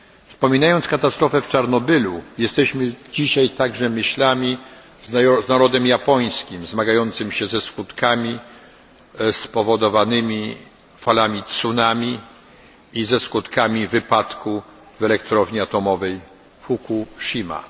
Wspominając katastrofę z Czarnobylu jesteśmy dzisiaj także myślami z narodem japońskim zmagającym się ze skutkami spowodowanymi falami tsunami i ze skutkami wypadku w elektrowni atomowej Fukushima.